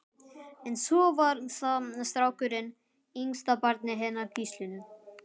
En svo var það strákurinn, yngsta barnið hennar Gíslínu.